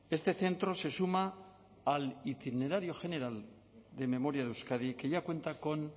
este centro se suma al itinerario general de memoria de euskadi que ya cuenta con